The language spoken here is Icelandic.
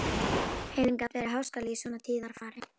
Heiðin gat verið háskaleg í svona tíðarfari.